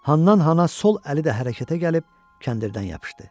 Hannan-hana sol əli də hərəkətə gəlib kəndirdən yapışdı.